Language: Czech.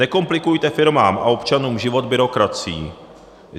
Nekomplikujte firmám a občanům život byrokracií.